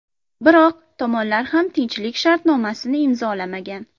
Biroq tomonlar hali ham tinchlik shartnomasini imzolamagan.